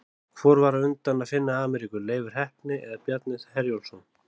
Hvor var á undan að finna Ameríku, Leifur heppni eða Bjarni Herjólfsson?